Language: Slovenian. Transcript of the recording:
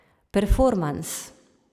Performans.